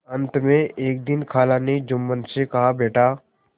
अंत में एक दिन खाला ने जुम्मन से कहाबेटा